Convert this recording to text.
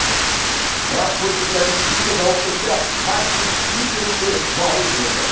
Frankfurtliklarning ikkita javob to‘piga Martin Hinteregger muallif bo‘ldi.